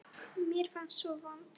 Mér fannst ég svo vond.